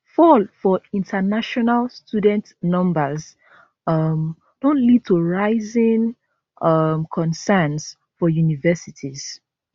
fall for international student numbers um don lead to rising um concerns for universities